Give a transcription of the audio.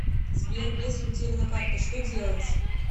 сбер если утеряна карта что делать